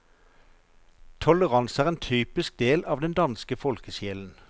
Toleranse er en typisk del av den danske folkesjelen.